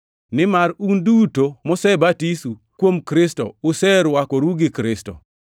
nimar un duto mosebatisu kuom Kristo userwakoru gi Kristo.